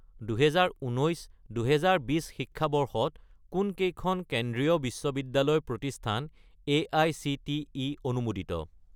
2019 - 2020 শিক্ষাবৰ্ষত কোনকেইখন কেন্দ্ৰীয় বিশ্ববিদ্যালয় প্ৰতিষ্ঠান এআইচিটিই অনুমোদিত?